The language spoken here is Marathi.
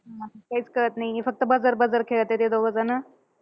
काहीच कळत नाहीये. फक्त buzzer buzzer खेळताय ते दोघेजणं.